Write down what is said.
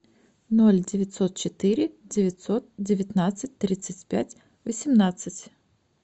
ноль девятьсот четыре девятьсот девятнадцать тридцать пять восемнадцать